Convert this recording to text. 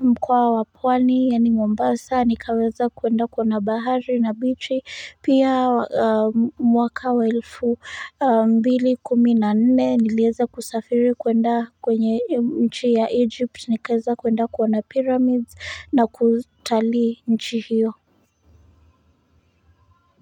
mkoa wa pwani yaani Mombasa nikaweza kwenda kuona bahari na bichi pia mwaka wa elfu mbili kumi na nne niliweza kusafiri kwenda kwenye nchi ya egypt nikaweza kwenda kuona pyramids na kutalii nchi hiyo.